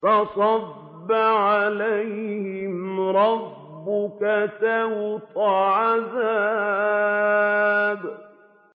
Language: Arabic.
فَصَبَّ عَلَيْهِمْ رَبُّكَ سَوْطَ عَذَابٍ